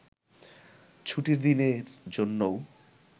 ছুটির দিনের জন্যও